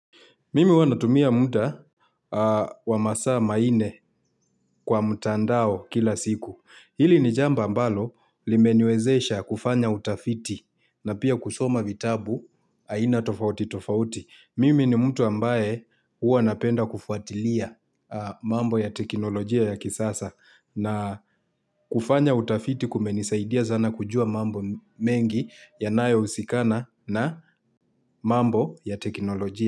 Mimi huwa natumia munda wamasaa ma inne kwa mtandao kila siku. Hili ni jamba ambalo limeniwezesha kufanya utafiti na pia kusoma vitabu aina tofauti tofauti. Mimi ni mtu ambaye huwa napenda kufuatilia mambo ya teknolojia ya kisasa na kufanya utafiti kumenisaidia zana kujua mambo mengi yanayo husikana na mambo ya teknolojia.